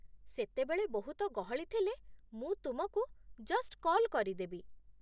ସେତେବେଳେ ବହୁତ ଗହଳି ଥିଲେ, ମୁଁ ତୁମକୁ ଜଷ୍ଟ୍ କଲ୍ କରିଦେବି ।